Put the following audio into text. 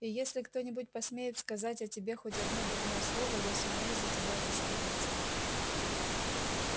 и если кто-нибудь посмеет сказать о тебе хоть одно дурное слово я сумею за тебя заступиться